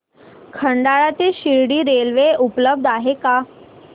खंडाळा ते शिर्डी रेल्वे उपलब्ध आहे का